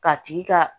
K'a tigi ka